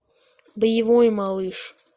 боевой малыш